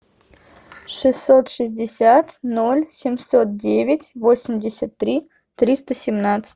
шестьсот шестьдесят ноль семьсот девять восемьдесят три триста семнадцать